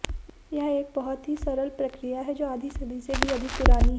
यह एक बहुत ही सफल प्रक्रिया है जो आधी सदी से भी अधिक पुरानी है